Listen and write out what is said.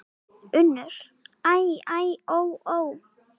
UNNUR: Æ, æ, ó, ó!